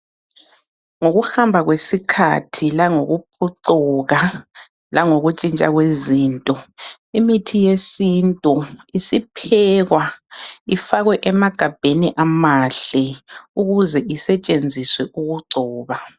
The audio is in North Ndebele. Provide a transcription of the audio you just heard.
Ngokuhamba kwesikhathi langokuphucuka langokuntshintsha kwezinto. Imithi yesintu isiphekwa ifakwe emagabheni amahle. Ukuze isetshenziswe ukugcoba.